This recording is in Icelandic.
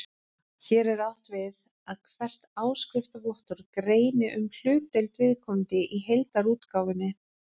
Hér er átt við að hvert áskriftarvottorð greini um hlutdeild viðkomandi í heildarútgáfunni.